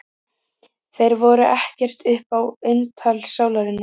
Þeir voru ekkert upp á eintal sálarinnar.